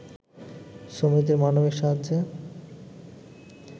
শ্রমিকদের মানবিক সাহায্যে